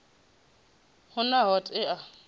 hu na t hod ea